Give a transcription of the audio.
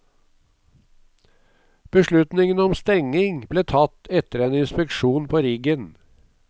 Beslutningen om stenging ble tatt etter en inspeksjon på riggen.